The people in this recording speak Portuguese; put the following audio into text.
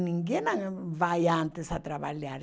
Ninguém ah vai antes a trabalhar.